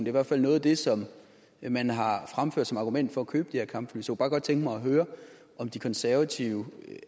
i hvert fald noget af det som man har fremført som argument for at købe de her kampfly så bare godt tænke mig at høre om de konservative